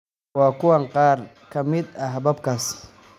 Waa kuwan qaar ka mid ah hababkaas: